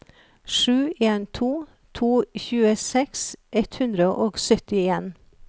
sju en to to tjueseks ett hundre og syttien